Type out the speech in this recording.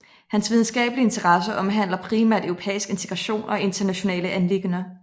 Hans videnskabelige interesser omhandler primært europæisk integration og internationale anliggender